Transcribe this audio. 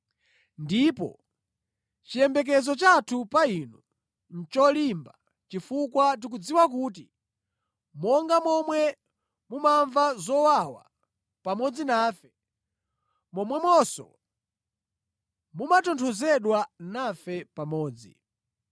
Ndipo chiyembekezo chathu pa inu nʼcholimba chifukwa tikudziwa kuti monga momwe mumamva zowawa pamodzi nafe, momwemonso mumatonthozedwa nafe pamodzi.